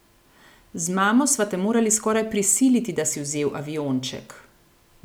Z mamo sva te morali skoraj prisiliti, da si vzel avionček.